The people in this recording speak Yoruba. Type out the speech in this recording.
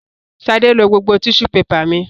Sadé lo gbogbo tíṣú pepà mi.